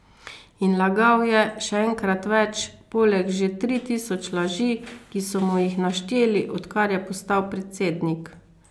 In lagal je, še enkrat več, poleg že tri tisoč laži, ki so mu jih našteli, odkar je postal predsednik.